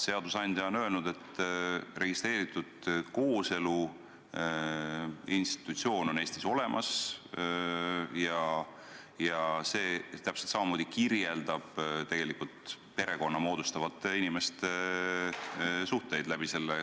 Seadusandja on öelnud, et registreeritud kooselu institutsioon on Eestis olemas ja selle kooselu registreerimise kaudu täpselt samamoodi kirjeldatakse perekonda moodustavate inimeste suhteid.